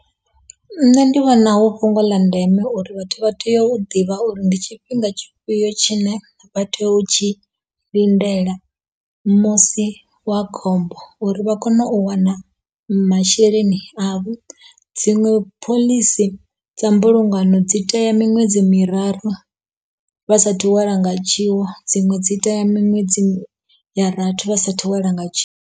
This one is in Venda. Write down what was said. Nṋe ndi vhona hu fhungo ḽa ndeme uri vhathu vha tea u ḓivha uri ndi tshifhinga tshifhio tshine vha tea u tshi lindela musi wa khombo uri vha kone u wana masheleni avho dziṅwe phoḽisi dza mbulungano dzi tea miṅwedzi miraru vha sathu welwa nga tshiwo dziṅwe dzi tea miṅwedzi ya rathi vha sa thu welwa nga tshiwo.